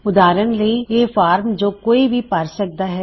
ਉਦਾਹਰਨ ਲਈ ਇੱਕ ਫਾਰਮ ਜੋ ਕੋਈ ਵੀ ਭਰ ਸਕਦਾ ਹੈ